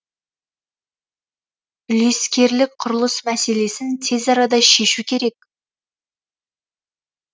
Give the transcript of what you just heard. үлескерлік құрылыс мәселесін тез арада шешу керек